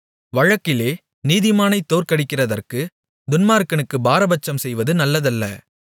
வழக்கிலே நீதிமானைத் தோற்கடிக்கிறதற்கு துன்மார்க்கனுக்கு பாரபட்சம் செய்வது நல்லதல்ல